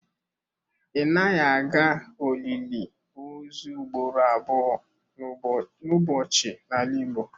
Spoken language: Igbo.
Ị naghị aga olili ozu ugboro abụọ n'ụbọchị n'ala Igbo.